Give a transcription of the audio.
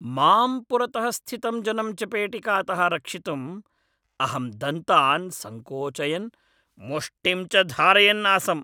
माम् पुरतः स्थितं जनं चपेटिकातः रक्षितुं अहं दन्तान् संकोचयन्, मुष्टिं च धारयन् आसम्।